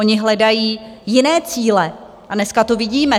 Oni hledají jiné cíle a dneska to vidíme.